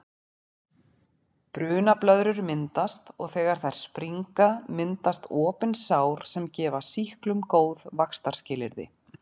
Brunablöðrur myndast og þegar þær springa myndast opin sár sem gefa sýklum góð vaxtarskilyrði.